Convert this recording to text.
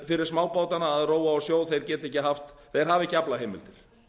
fyrir smábátana að róa á sjó þeir hafa ekki aflaheimildir